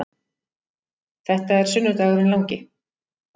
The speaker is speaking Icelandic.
Þetta er sunnudagurinn langi.